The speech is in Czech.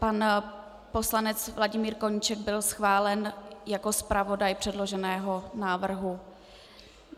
Pan poslanec Vladimír Koníček byl schválen jako zpravodaj předloženého návrhu.